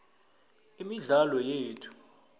imidlalo yethu